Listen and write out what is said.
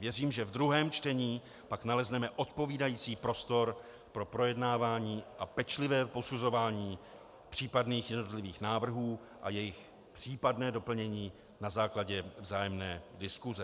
Věřím, že v druhém čtení pak nalezneme odpovídající prostor pro projednávání a pečlivé posuzování případných jednotlivých návrhů a jejich případné doplnění na základě vzájemné diskuse.